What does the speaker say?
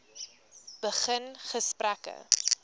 begin gesprekke